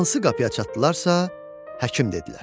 Hansı qapıya çatdılarsa, həkim dedilər.